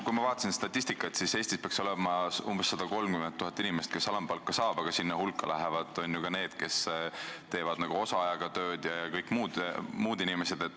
Kui ma vaatasin statistikat, siis Eestis peaks olema umbes 130 000 inimest, kes alampalka saavad, aga sinna hulka lähevad ju ka need, kes teevad osaajaga tööd vms.